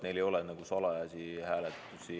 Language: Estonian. Neil ei ole salajasi hääletusi.